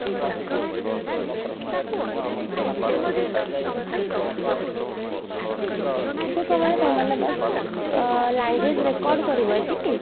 ତ ସେମାନେ ତମେ ମାନେ ବାସ ଅଂ language record କରିବ ଏତିକି